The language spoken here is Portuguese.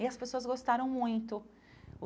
E as pessoas gostaram muito.